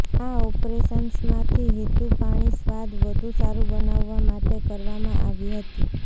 આ ઓપરેશન્સમાંથી હેતુ પાણી સ્વાદ વધુ સારું બનાવવા માટે કરવામાં આવી હતી